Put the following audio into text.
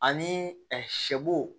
Ani sɛbo